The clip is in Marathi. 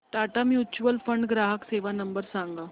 टाटा म्युच्युअल फंड ग्राहक सेवा नंबर सांगा